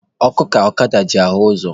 Ọkụ ka ọkada ji ahụ ụzọ